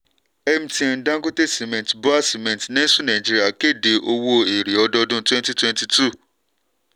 mtn dangote cement bua cement nestle nigeria kéde owó èrè ọdọọdún twenty twenty two.